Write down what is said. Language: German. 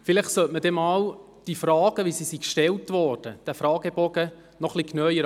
Vielleicht sollte man sich diesen Fragebogen etwas genauer anschauen.